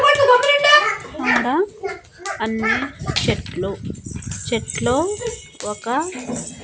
ఆడ అన్ని చెట్లు చెట్లో ఒక--